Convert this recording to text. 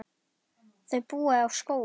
Þau búa á Skógum.